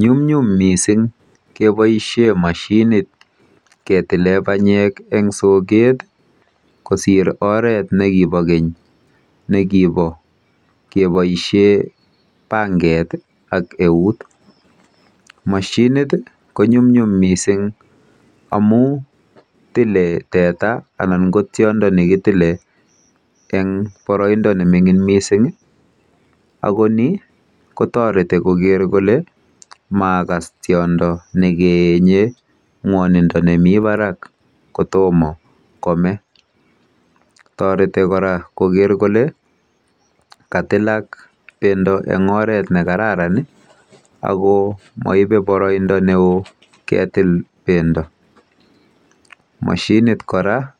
Nyumnyjm missing' kepaaishe mashinit ketile panyek eng' soket kosir oret ne kipa keny ne kipa kepaishe pangeti, ak eut. Mashinit i, konyumnyum missing' amun tile teta anan ko tiondo ne kitile eng' paraimdo ne mining' missing' i, ako ni ko tareti koker kole makas tiondo ne keenye mwanindo ne mi parak ko toma kome. Tareti kora koker kole katilak pendo eng' oret ne kararan ako maipe paraindo ne oo ketil pendo. Mashinit kora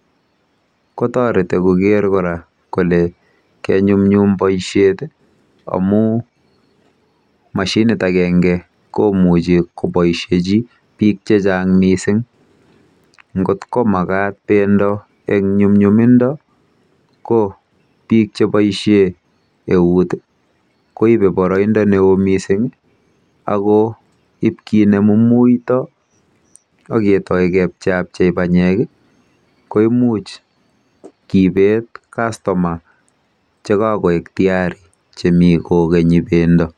ko tareti koker kora kole kenyumnyum poishet amu mashinit agenge ko muchi kopaisheji piil che chang' missing' ngot ko makat pendo eng' nyumnyumindo ko piik che paishe euut i, koipe paraindo ne oo missing' ako ip kinemu muita ak ketai kepchei apchei panyek i, ko imuch kipet customers che ka koek tayari. Che mi kokenyi pendo.